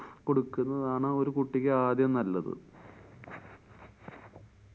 കൊടുക്കുന്നതാണ് ഒരു കുട്ടിക്ക് ആദ്യം നല്ലത്.